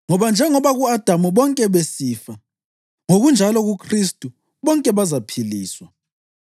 Ngoba njengoba ku-Adamu bonke besifa, ngokunjalo kuKhristu bonke bazaphiliswa.